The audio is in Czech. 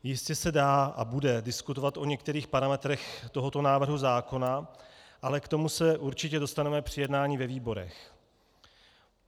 Jistě se dá a bude diskutovat o některých parametrech tohoto návrhu zákona, ale k tomu se určitě dostaneme při jednání ve výborech.